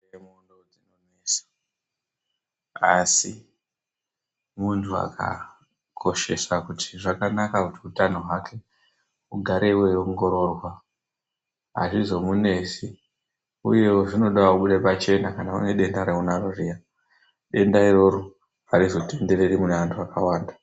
Asi munthu akakoshesa kuti zvakanaka kuti hutano hwake hugare hweingororwa hazvinomunesi. Uyewo zvinode kubuda pachena kana uine denda zviya. Denda iroro harizotendereri mune antu akawanda.